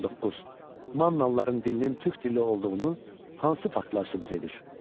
19. Mannalıların dilinin türk dilli olduğunu hansı faktlar sübut edir?